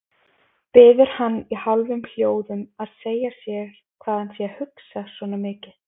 Biður hann í hálfum hljóðum að segja sér hvað hann sé að hugsa svona mikið.